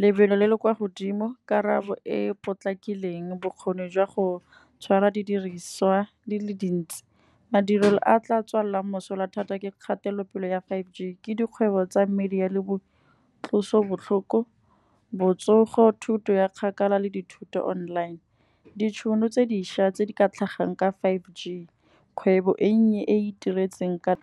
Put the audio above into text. lebelo le le kwa godimo, karabo e potlakileng, bokgoni jwa go tshwara didiriswa di le dintsi. Madirelo a tla tswalelang mosola thata ke kgatelopele ya five g, ke dikgwebo tsa media le bo tloso botlhoko, botsogo, thuto ya kgakala le dithuto online. Ditšhono tse dišwa tse di ka tlhagang ka five G, kgwebo e nnye e e iteretsweng ka.